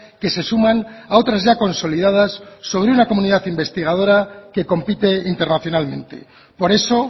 que se suman a otras ya consolidadas sobre una comunidad investigadora que compite internacionalmente por eso